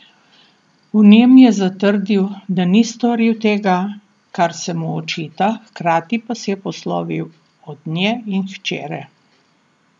V njem je zatrdil, da ni storil tega, kar se mu očita, hkrati pa se je poslovil od nje in hčere.